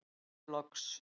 spyr ég loks.